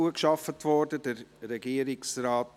Ich werde Ihnen sagen, was zweite Priorität hat.